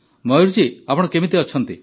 ମୟୂର ଜୀ ଆପଣ କେମିତି ଅଛନ୍ତି